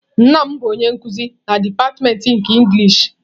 Nna m bụ onye nkuzi na dipatịmentị nke inglishị.